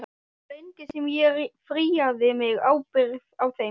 Svo lengi sem ég fríaði mig ábyrgð á þeim.